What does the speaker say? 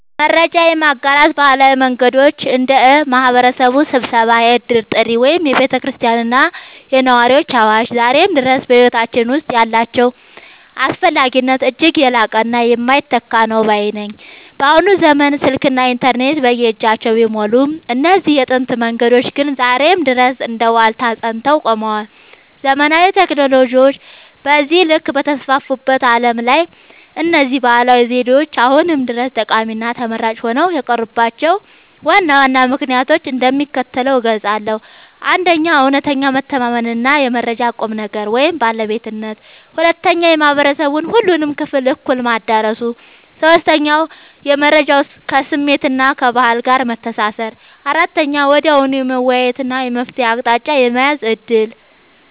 መረጃ የማጋራት ባህላዊ መንገዶች (እንደ ማኅበረሰብ ስብሰባ፣ የዕድር ጥሪ ወይም የቤተ ክርስቲያንና የነዋሪዎች አዋጅ) ዛሬም ድረስ በሕይወታችን ውስጥ ያላቸው አስፈላጊነት እጅግ የላቀና የማይተካ ነው ባይ ነኝ። በአሁኑ ዘመን ስልክና ኢንተርኔት በየእጃችን ቢሞሉም፣ እነዚህ የጥንት መንገዶች ግን ዛሬም ድረስ እንደ ዋልታ ጸንተው ቆመዋል። ዘመናዊ ቴክኖሎጂዎች በዚህ ልክ በተስፋፉበት ዓለም ላይ፣ እነዚህ ባህላዊ ዘዴዎች አሁንም ድረስ ጠቃሚና ተመራጭ ሆነው የቀሩባቸውን ዋና ዋና ምክንያቶች እንደሚከተለው እገልጻለሁ፦ 1. እውነተኛ መተማመንና የመረጃው ቁም ነገር (ባለቤትነት) 2. የማኅበረሰቡን ሁሉንም ክፍል እኩል ማዳረሱ 3. የመረጃው ከስሜትና ከባህል ጋር መተሳሰር 4. ወዲያውኑ የመወያየትና የመፍትሔ አቅጣጫ የመያዝ ዕድል